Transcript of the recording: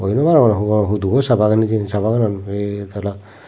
hoi nobarongor hongo huduo sa bagan hijeni sa baganan batala.